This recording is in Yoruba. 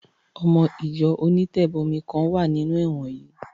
Ọmọ Ìjọ onítẹ̀bọmi kan wà nínú ẹ̀wọ̀n yẹn